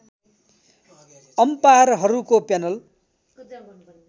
अम्पायरहरूको panel